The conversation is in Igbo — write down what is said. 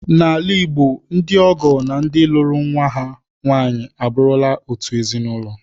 N'ala Igbo, ndị ọgọ na ndị lụrụ nwa ha nwaanyị abụrụla otu ezinụlọ